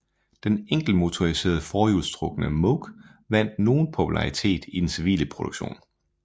Den enkeltmotoriserede forhjulstrukne Moke vandt nogen popularitet i den civile produktion